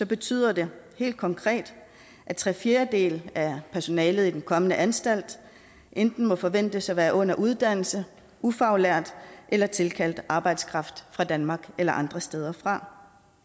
betyder det helt konkret at tre fjerdedele af personalet i den kommende anstalt enten må forventes at være under uddannelse ufaglært eller tilkaldt arbejdskraft fra danmark eller andre steder fra